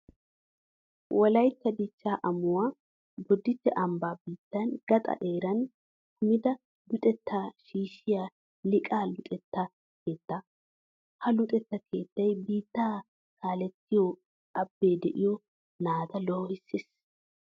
Wolaytta dichchaa amuwan Bodditte ambban biittaa gaxan eran kumida luxettaa shiishshiya Liiqaa luxetta keettaa. Ha luxetta keettay biittaa kaalettiyo abbee de'iyo naata loohissees.